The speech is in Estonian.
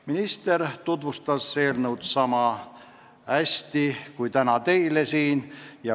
Minister tutvustas eelnõu niisama hästi kui täna teile siin.